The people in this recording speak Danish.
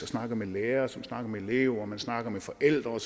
snakker med lærerne som snakker med eleverne man snakker med forældre og